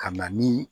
Ka na ni